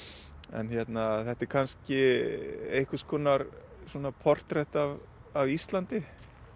en þetta er kannski einhvers konar portrett af af Íslandi